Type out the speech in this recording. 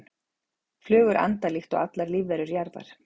flugur anda líkt og allar lífverur jarðar